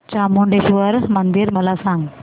चामुंडेश्वरी मंदिर मला सांग